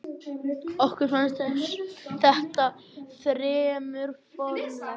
Okkur fannst þetta fremur formlegt.